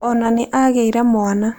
O na nĩ aagĩire mwana.